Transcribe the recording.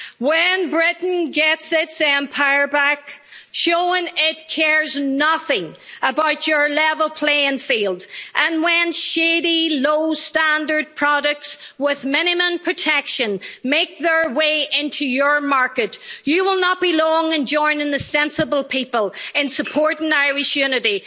When Britain gets its empire back, showing it cares nothing about your level playing field, and when shady low standard products with minimum protection make their way into your market, you will not be long in joining the sensible people in supporting Irish unity.